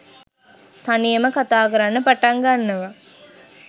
තනියම කතා කරන්න පටන් ගන්නවා